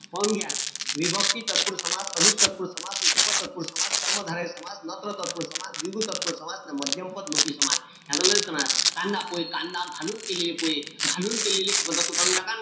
पाहून घ्या. विभक्ती तत्पुरुषी समास, अलुक तत्पुरुषी समास, उपपद ततत्पुरुषी समास, कर्मधारय समास, नत्र तत्पुरुषी समास, द्विगु तत्पुरुषी समास अन मध्यम पद लोपी समास. कांदा-पोहे कांदा घालून केलेले पोहे. घालून केलेले पदातून काढून टाका.